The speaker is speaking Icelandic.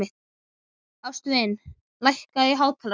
Ástvin, lækkaðu í hátalaranum.